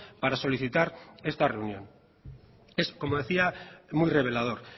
para solicitar esta reunión es como decía muy revelador